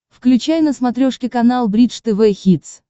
включай на смотрешке канал бридж тв хитс